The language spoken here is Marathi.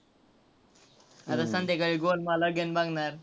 आता संध्याकाळी गोलमाल again बघणार.